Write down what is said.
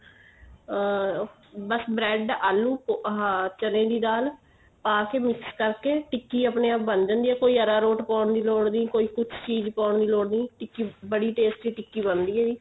ਆ ਬੱਸ bread ਆਲੂ ਆਹ ਚਨੇ ਦੀ ਦਾਲ ਪਾ ਕੇ mix ਕਰਕੇ ਟਿੱਕੀ ਆਪਣੇ ਆਪ ਬਣ ਜਾਂਦੀ ਏ ਕੋਈ ਅਰਾਰੋਟ ਪਾਉਣ ਦੀ ਲੋੜ ਨੀ ਕੋਈ ਕੁੱਝ ਚੀਜ਼ ਪਾਉਣ ਦੀ ਲੋੜ ਨੀ ਟਿੱਕੀ ਬੜੀ tasty ਟਿੱਕੀ ਬਣਦੀ ਏ ਜੀ